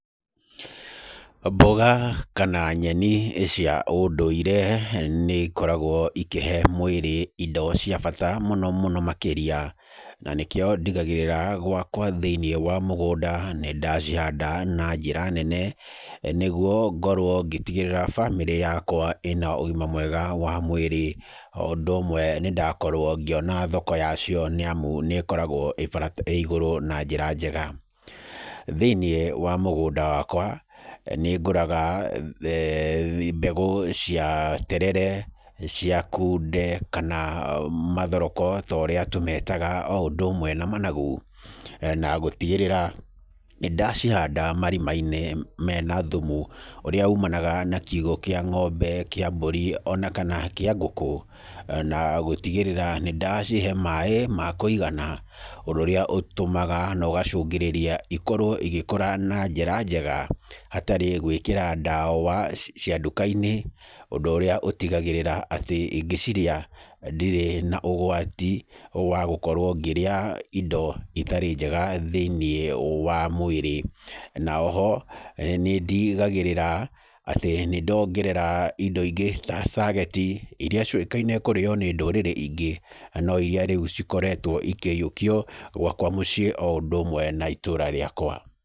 Mboga kana nyeni cia ũndũirĩ nĩikoragwo ikĩhe mwĩrĩ indo cia bata mũno mũno makĩrĩa, na nĩkio ndigagĩrĩra gwakwa thĩinĩ wa mũgũnda nĩ ndacihanda na njĩra nene, na nĩguo ngorwo ngĩtigĩrĩra bamĩrĩ yakwa ĩna ũgima mwega wa mwĩrĩ, o ũndũ ũmwe nĩ ndakorwo ngĩona thoko yacio nĩamu nĩkoragwo ĩ igũrũ na njĩra njega, thĩinĩ wa mũgũnda wakwa nĩngũraga eeh mbegũ cia terere, cia kunde, kana mathoroko torĩa tũmetaga o ũndũ ũmwe na managu, na gũtigĩrĩra nĩ ndacihanda marima-inĩ mena thumu, ũrĩa ũmanaga na kiugo kĩa ng'ombe, kĩa mbũri, onakana kĩa ngũkũ, na gũtigĩrĩra nĩ ndacihe maĩ ma kwĩigana, ũndũ ũrĩa ũtũmaga, na ũgacũngĩrĩria, ikorwo igĩkũra na njĩra njega, hatarĩ gwĩkĩra ndawa cia nduka-inĩ, ũndũ ũrĩa ũtigagĩrĩra atĩ ingĩciria ndirĩ na ũgwati wa gũkorwo ngĩrĩa indo itarĩ njega thĩinĩ wa mwĩrĩ, na oho nĩ ndigagĩrĩra atĩ nĩ ndongerera indo ingĩ ta cageti, iria ciũĩkaine kũrĩyo nĩ ndũrĩrĩ ingĩ, no iria rĩu cikoretwo ikĩnyiũkio gwakwa mũciĩ o ũndũ ũmwe na itũra rĩakwa.